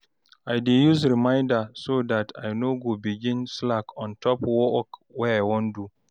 i dey use reminder so dat I no go begin slack on top work wey I wan do